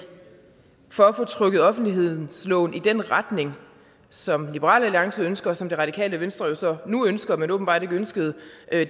for at få trukket offentlighedsloven i den retning som liberal alliance ønsker og som det radikale venstre nu ønsker men åbenbart ikke ønskede